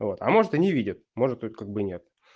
а вот а может и не видят может тут как бы нет